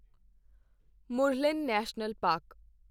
Murlen National park